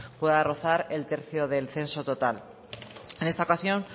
pueda rozar el tercio del censo total en esta ocasión